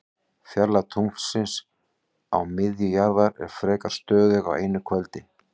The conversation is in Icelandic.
Fjarlægð tunglsins að miðju jarðar er frekar stöðug á einu kvöldi.